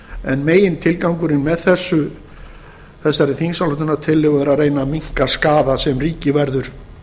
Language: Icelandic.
en megintilgangurinn með þessari þingsályktunartillögu er að reyna að minnka skaða sem ríkið verður